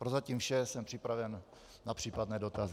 Prozatím vše, jsem připraven na případné dotazy.